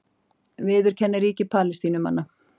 Viðurkenni ríki Palestínumanna